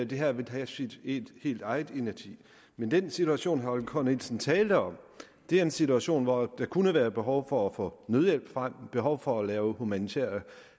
det her vil have sin helt egen inerti men den situation herre holger k nielsen taler om er en situation hvor der kunne være behov for at få nødhjælp frem behov for at lave humanitære